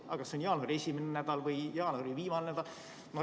Aga kas see on jaanuari esimene nädal või jaanuari viimane nädal?